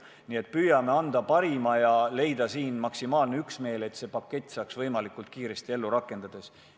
Nii et püüame anda endast parima ja leida maksimaalse üksmeele, et see pakett saaks võimalikult kiiresti ellu rakendatud.